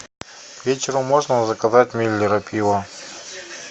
к вечеру можно заказать миллера пива